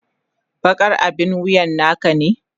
Bakar abin wuyan naka ne?